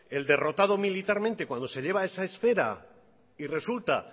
el derrotado militarmente cuando se lleva esa esfera y resulta